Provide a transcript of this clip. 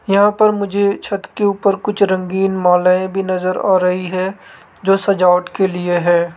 यहां पर मुझे छत के ऊपर कुछ रंगीन मालाएं भी नजर आ रही है जो सजावट के लिए है।